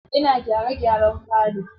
Ina gyare gyaren falo.